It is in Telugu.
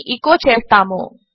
అని ఎచో చేస్తాము